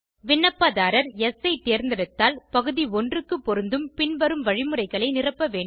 விண்ணப்பதாரர் யெஸ் ஐ தேர்ந்தெடுத்தால் பகுதி 1 க்கு பொருந்தும் பின்வரும் வழிமுறைகளை நிரப்ப வேண்டும்